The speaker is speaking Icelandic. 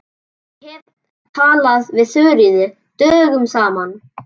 Ég hef ekki talað við Þuríði dögum saman.